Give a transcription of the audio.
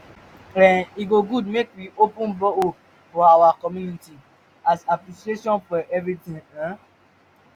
um e go good make we open borehole for our our community as appreciation for everything um